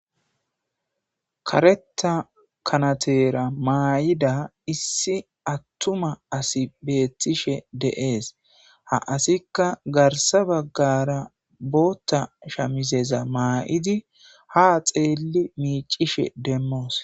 Kareththa kanatera mayida issi attuma asi beettishe de'es. Ha asikka garssa baggara booththa shaamizeza mama'idi haa xeelli miiccishe demmoos.